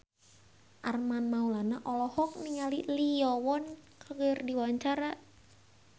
Armand Maulana olohok ningali Lee Yo Won keur diwawancara